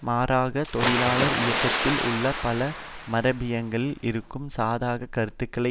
மாறாக தொழிலாளர் இயக்கத்தில் உள்ள பல மரபியங்களில் இருக்கும் சாதகக் கருத்துக்களை